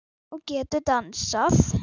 Og getur dansað.